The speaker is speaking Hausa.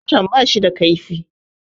Zarton bashi da kaifi